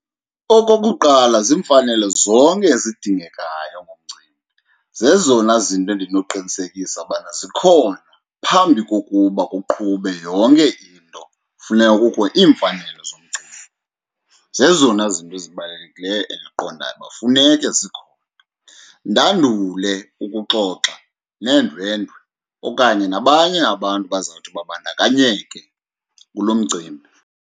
Okokuqala, ziimfanelo zonke ezidingekayo kumcimbi, zezona zinto endinoqinisekisa ubana zikhona. Phambi kokuba kuqhube yonke into funeka kukho iimfanelo zomcimbi. Zezona zinto zibalulekileyo endiqondayo uba funeke zikhona ndandule ukuxoxa neendwendwe okanye nabanye abantu abazawuthi babandakanyeke kulo mcimbi.